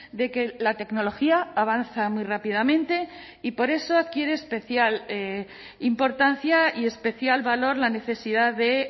de que la tecnología avanza muy rápidamente y por eso adquiere especial importancia y especial valor la necesidad de